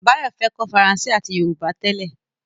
Báyọ̀ fẹ́ kọ́ Faransé àti Yorùbá tẹ́lẹ̀